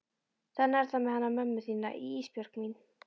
Þannig er það með hana mömmu þína Ísbjörg mín.